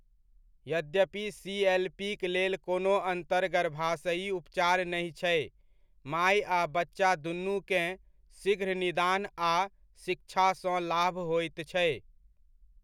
यद्यपि सीएलपीक लेल कोनो अन्तर्गर्भाशयी उपचार नहि छै, माइ आ बच्चा दूनूकेँ शीघ्र निदान आ शिक्षासँ लाभ होइत छै।